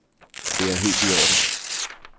Det er helt i orden.